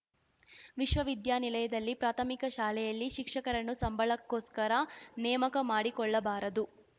ವಿಶ್ವವಿದ್ಯಾನಿಲಯದಲ್ಲಿ ಪ್ರಾಥಮಿಕ ಶಾಲೆಯಲ್ಲಿ ಶಿಕ್ಷಕರನ್ನು ಸಂಬಳಕ್ಕೋಸ್ಕರ ನೇಮಕ ಮಾಡಿಕೊಳ್ಳಬಾರದು